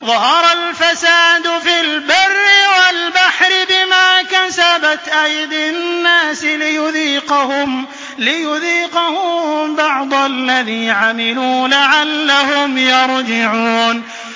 ظَهَرَ الْفَسَادُ فِي الْبَرِّ وَالْبَحْرِ بِمَا كَسَبَتْ أَيْدِي النَّاسِ لِيُذِيقَهُم بَعْضَ الَّذِي عَمِلُوا لَعَلَّهُمْ يَرْجِعُونَ